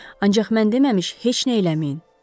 Ancaq mən deməmiş heç nə eləməyin.